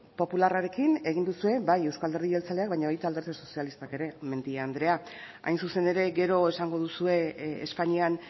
popularrarekin egin duzue bai eusko alderdi jeltzaleak baina baita alderdi sozialistak ere mendia anderea hain zuzen ere gero esango duzue espainian